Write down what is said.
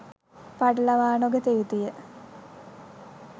පටලවා නොගත යුතුය.